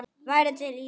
Værirðu til í það?